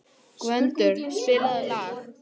Gvöndur, spilaðu lag.